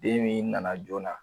Den min nana joona